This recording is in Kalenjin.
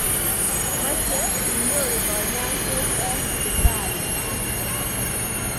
Meche inyoru kanyoiset eng sipitali.